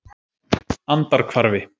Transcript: Andarhvarfi